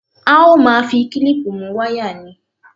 A ó máa fi klíìpù mú wáyà ni